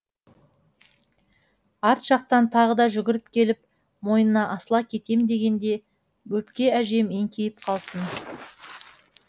арт жақтан тағы да жүгіріп келіп мойнына асыла кетем дегенде бөпке әжем еңкейіп қалсын